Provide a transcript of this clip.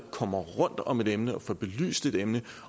kommer rundt om et emne og får belyst et emne